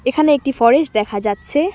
এখানে একটি ফরেস্ট দেখা যাচ্ছে।